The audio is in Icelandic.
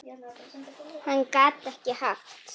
Hann gat ekki haft